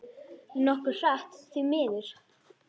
Nokkuð hratt, því miður.